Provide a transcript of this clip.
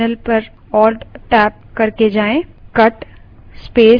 terminal alt + tab पर जाएँ